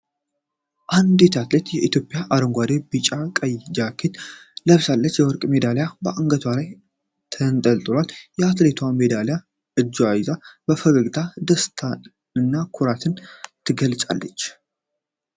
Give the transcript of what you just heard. አንዲት አትሌት የኢትዮጵያን አረንጓዴ፣ ቢጫና ቀይ ጃኬት ለብሳለች። የወርቅ ሜዳሊያ በአንገቷ ላይ ተንጠልጥሏል። አትሌቷ ሜዳሊያውን በእጇ ይዛ በፈገግታ ደስታንና ኩራትን ትገልጻለች።